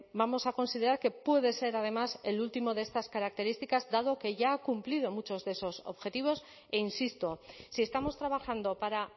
vamos a considerar que puede ser además el último de estas características dado que ya ha cumplido en muchos de esos objetivos e insisto si estamos trabajando para